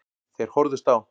Þeir horfðust á.